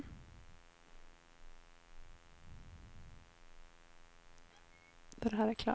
Testar en två tre fyra fem sex sju åtta.